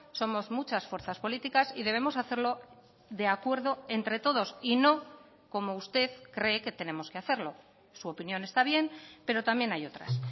somos muchas fuerzas políticas y debemos hacerlo de acuerdo entre todos y no como usted cree que tenemos que hacerlo su opinión está bien pero también hay otras